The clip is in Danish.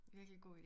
Virkelig god idé